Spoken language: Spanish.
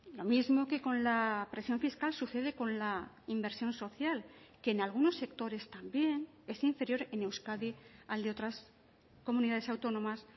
lo mismo que con la presión fiscal sucede con la inversión social que en algunos sectores también es inferior en euskadi al de otras comunidades autónomas